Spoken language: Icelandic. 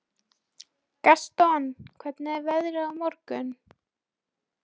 Gaston, hvernig er veðrið á morgun?